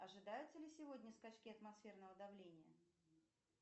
ожидаются ли сегодня скачки атмосферного давления